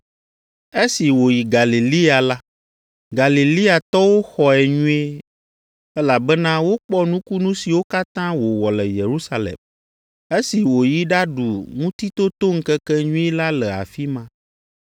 Esi wòyi Galilea la, Galileatɔwo xɔe nyuie, elabena wokpɔ nukunu siwo katã wòwɔ le Yerusalem, esi woyi ɖaɖu Ŋutitotoŋkekenyui la le afi ma.